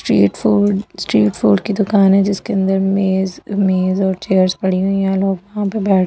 ट्रीयेड फॉर स्‍ट्रील फॉर की दुकान है जिसके अंदर मेज मेज और चेयरस पड़ी हुई हैं लोग वहां पे बैठे जो है वो स्‍ट्रीड --